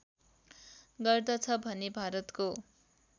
गर्दछ भने भारतको